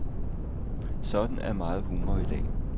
Sådan er meget humor i dag.